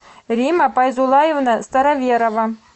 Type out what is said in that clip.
римма пайзулаевна староверова